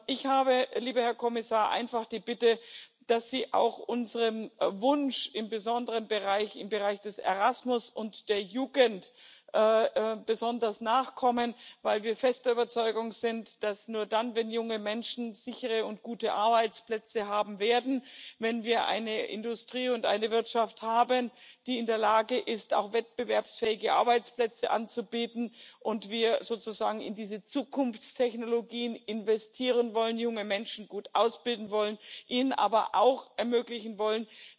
Ich habe, lieber Herr Kommissar, einfach die Bitte, dass Sie auch unserem Wunsch im Besonderen im Bereich des Erasmus und der Jugend besonders nachkommen, weil wir fest der Überzeugung sind, dass nur dann, wenn junge Menschen sichere und gute Arbeitsplätze haben werden, wenn wir eine Industrie und eine Wirtschaft haben, die in der Lage ist, wettbewerbsfähige Arbeitsplätze anzubieten, und wir sozusagen in diese Zukunftstechnologien investieren wollen, junge Menschen gut ausbilden wollen, ihnen aber auch ermöglichen wollen,